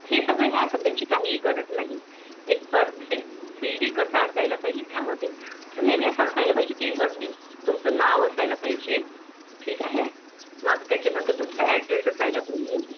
हे सगळं या सगळ्यांची गरज नाही एक perfect CV कसा असायला पाहिजे नेहमी असं स्थळ पाहिजे त्या मध्ये वरती तुमचं नाव असायला पाहिजे ठीक आहे मग त्याच्यानंतर तुमचं Address असायला पाहिजे